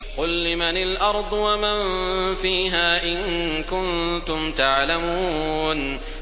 قُل لِّمَنِ الْأَرْضُ وَمَن فِيهَا إِن كُنتُمْ تَعْلَمُونَ